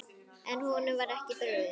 En var honum ekki brugðið?